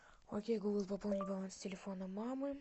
окей гугл пополни баланс телефона мамы